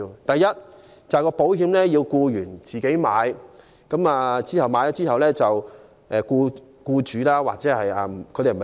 第一，保險由僱員自行購買，然後由僱主發補助金。